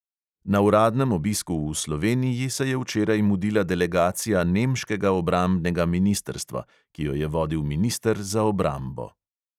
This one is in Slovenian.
Na uradnem obisku v sloveniji se je včeraj mudila delegacija nemškega obrambnega ministrstva, ki jo je vodil minister za obrambo.